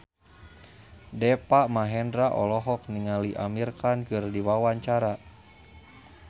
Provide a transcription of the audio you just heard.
Deva Mahendra olohok ningali Amir Khan keur diwawancara